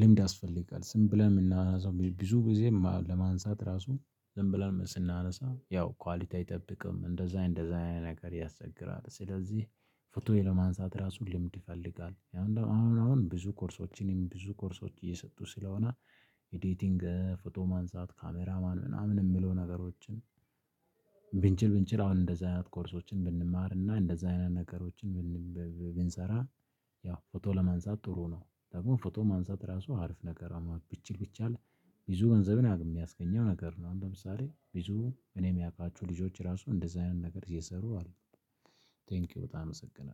ልምድ ያስፈልጋል ዝም ብለን የምናነሳው ብዬ ብዙ ጊዜ ለማንሳት ራሱ ዝም ብለን ስናነሳ ያው ኳሊቲ አይጠብቅም እንደዛ እንደዛ አይነት ነገር ያስቸግራል። ስለዚህ ፎቶዬ ለማንሳት ራሱ ልምድ ይፈልጋል። አሁን ብዙ ኮርሶችንም ብዙ ኮርሶች እየሰጡ ስለሆነ ኤዲቲንግ ፎቶ ማንሳት ካሜራማን ምናምን የምሉ ነገሮችን ብንችል ብንችል አሁን እንደዛ አይነት ኮርሶችን ብንማር እና እንደዛ አይነት ነገሮችን ብን ብ ብ ብንሰራ ያው ፎቶ ለማንሳት ጥሩ ነው ደግሞ ፎቶ ማንሳት ራሱ አሪፍ ነገር ብችል ቢቻል ብቻ ብዙ ገንዘቤን የሚያስገኘው ነገር ነው። አሁን ለምሳሌ ብዙ እኔ ምያቃቸው ልጆች ራሱ እንደዚህ አይነት ነገር እየሰሩ አሉ። ቴንኪው በጣም እሰግናለሁ።